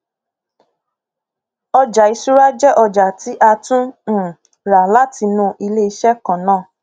ọjà ìṣúra jẹ ọjà tí a tún um rà látinú iléiṣẹ kan náà